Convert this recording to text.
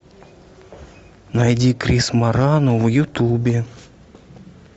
найди крис морану в ютубе